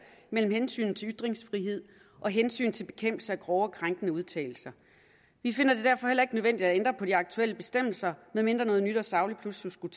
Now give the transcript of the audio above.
mellem hensynet til ytringsfrihed og hensynet til bekæmpelse af grove og krænkende udtalelser vi finder det derfor heller ikke nødvendigt at ændre på de aktuelle bestemmelser medmindre noget nyt og sagligt pludselig skulle